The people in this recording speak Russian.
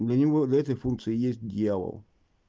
для него для этой функции есть дьявол